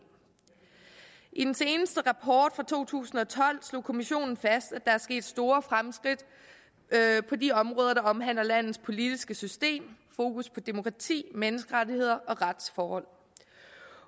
i den seneste rapport fra to tusind og tolv slog kommissionen fast at der er sket store fremskridt på de områder der omhandler landets politiske system fokus på demokrati menneskerettigheder og retsforhold